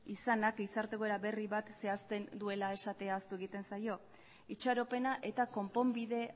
izanak gizarte egoera berri bat zehazten duela esatea ahaztu egiten zaio itxaropena eta konponbide